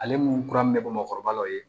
Ale mun kura min bɛ bɔ mɔgɔkɔrɔba la o ye